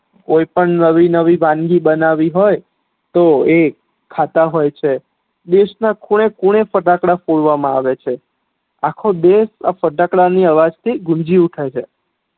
કોઈ પણ નવી નવી વાનગી બનાવી હોય તો એ ખાતા હોય છે દેશ ના ખૂણે ખૂણે ફેટાકડા ફોડવા મા આવે છે અખો દેશ આ ફટાકડા ના અવાજ થી ગુંજી ઉઠે છે